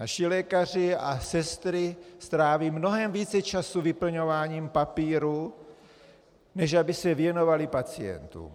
Naši lékaři a sestry stráví mnohem více času vyplňováním papírů, než aby se věnovali pacientům.